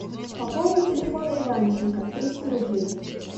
пополнить телефон иванченко триста рублей